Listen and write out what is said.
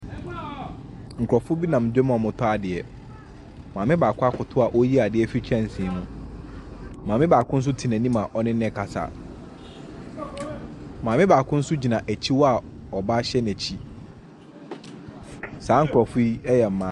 Nkrɔfo bi nam dwam a wɔretɔ adeɛ. Maame baako akoto a ɔreyi adeɛ afiri kyɛnsee mu. Maame baako nso tena anim a ɔne no rekasa. Maame baako nso gyina akyi hɔ a ɔba hyɛ n'akyi. Saa nkrɔfo yi yɛ maa.